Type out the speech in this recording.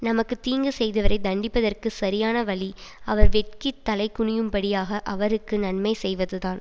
நமக்கு தீங்கு செய்தவரை தண்டிப்பதற்குச் சரியான வழி அவர் வெட்கித் தலைகுனியும்படியாக அவருக்கு நன்மை செய்வதுதான்